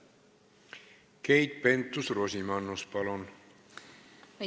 Keit Pentus-Rosimannus, palun!